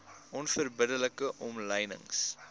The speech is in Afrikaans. onverbidde like omlynings